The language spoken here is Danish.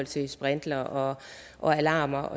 til sprinklere og alarmer